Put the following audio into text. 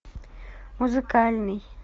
музыкальный